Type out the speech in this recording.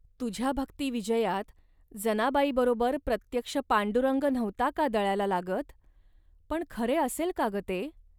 तुझ्या भक्तिविजयात जनाबाईबरोबर प्रत्यक्ष पांडुरंग नव्हता का दळायला लागत. पण खरे असेल का ग ते